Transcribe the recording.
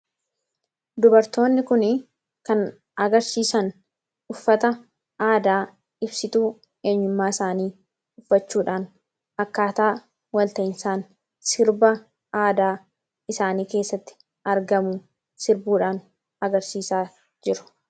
dubartoonni kun kan agarsiisan uffata aadaa ibsituu eenyummaa isaanii uffachuudhaan akkaataa walta'insaan sirba aadaa isaanii keessatti argamu sirbuudhaan agarsiisaa jiru